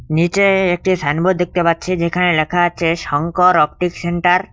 নীচে একটি সাইনবোর্ড দেখতে পাচ্ছি যেখানে লেখা আছে শংকর অপটিক সেন্টার ।